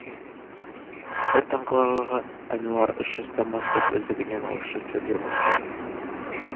бір таңқаларлығы ануар үш жастан бастап өздігінен орысша сөйлей бастады